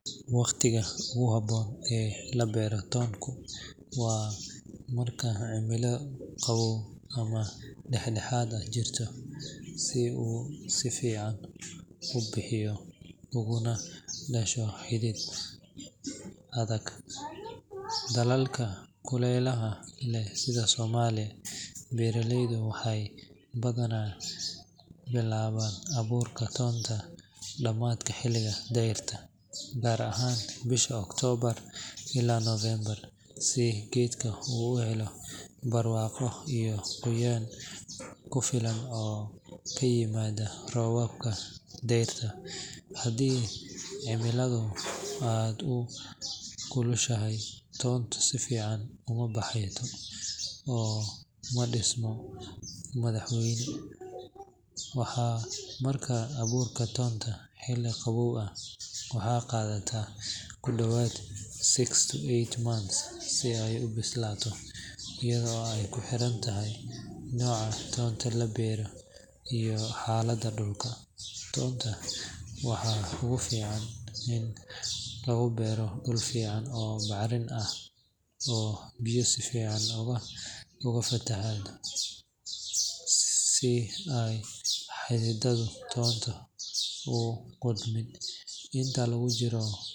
Waqtiga ugu habboon ee la beero toonku waa marka cimilo qabow ama dhexdhexaad ah ay jirto, si uu si fiican u bixiyo ugana dhasho xidid adag. Dalalka kulaylaha leh sida Soomaaliya, beeraleydu waxay badanaa bilaabaan abuurka toonka dhamaadka xilliga dayrta, gaar ahaan bisha October ilaa November, si geedka u helo barwaaqo iyo qoyaan ku filan oo ka yimaada roobabka dayrta. Haddii cimiladu aad u kulushahay, toonku si fiican uma baxo oo ma dhismo madax waaweyn. Markaad abuurto toonta xilli qabow ah, waxay qaadataa ku dhawaad six to eight months si ay u bislaato, iyadoo ay ku xiran tahay nooca toonta la beero iyo xaaladda dhulka. Toonta waxaa ugu fiican in lagu beero dhul fiican oo bacrin ah oo biyo si fiican uga fataho, si aysan xididada toonta u qudhmin. Inta lagu jiro.